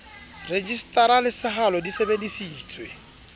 rejisetara le sehalo di sebedisitswe